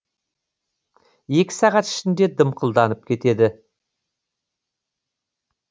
екі сағат ішінде дымқылданып кетеді